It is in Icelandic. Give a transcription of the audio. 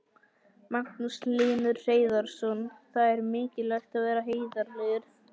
Magnús Hlynur Hreiðarsson: Þannig það er mikilvægt að vera heiðarlegur?